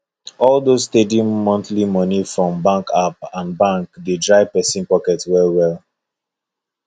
all those steady monthly money from bank app and bank dey dry person pocket well well